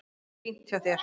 Fínt hjá þér.